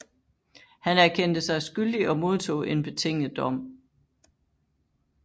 Han erkendte sig skyldig og modtog en betinget dom